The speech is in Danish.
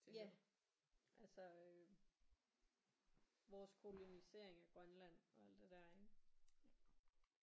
Ja altså øh vores kolonisering af Grønland og alt det der ik